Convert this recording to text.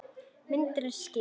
Myndin er skýr.